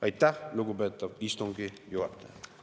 Aitäh, lugupeetav istungi juhataja!